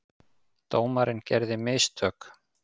Dómarinn gerði mistök.